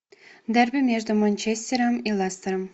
дерби между манчестером и лестером